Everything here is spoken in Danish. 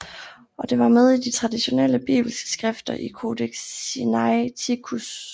Og det var med i de traditionelle bibelske skrifter i Codex Sinaiticus